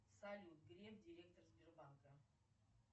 салют греф директор сбербанка